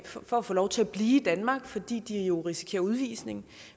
for at få lov til at blive i danmark fordi de jo risikerer udvisning